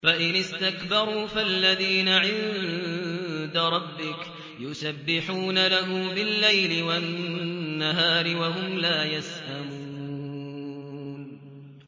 فَإِنِ اسْتَكْبَرُوا فَالَّذِينَ عِندَ رَبِّكَ يُسَبِّحُونَ لَهُ بِاللَّيْلِ وَالنَّهَارِ وَهُمْ لَا يَسْأَمُونَ ۩